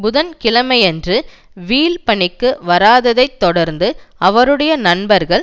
புதன் கிழமையன்று வீல் பணிக்கு வராததைத் தொடர்ந்து அவருடைய நண்பர்களும்